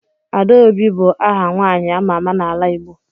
Adaobi bu aha nwanyi ama ama n'ala Igbo.